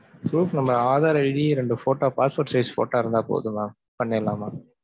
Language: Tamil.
Proof நம்ம ஆதார் id ரெண்டு photo, passport size photo இருந்தா போதும் mam பண்ணிரலாம் mam.